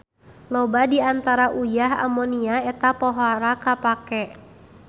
Loba di antara uyah amonia eta pohara kapake.